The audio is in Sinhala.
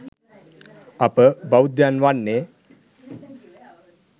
අප බෞද්ධයන් වන්නේ